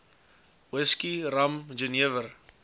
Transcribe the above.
whisky rum jenewer